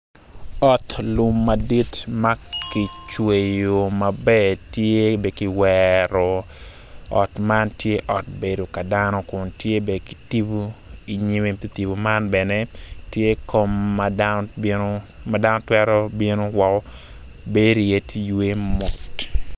Ot lum madit ma kicweyo maber tye be ki kiwero ot man tye ot bedo ka dano kun tye be ki tibu inyime i te tibu man bene tye kom ma dano twero bino woko bedi iye ti ywe mot